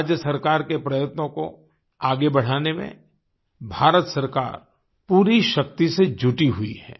राज्य सरकार के प्रयत्नों को आगे बढ़ाने में भारत सरकार पूरी शक्ति से जुटी हुई है